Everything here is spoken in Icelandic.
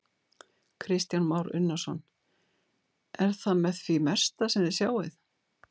Kristján Már Unnarsson: Er það með því mesta sem þið sjáið?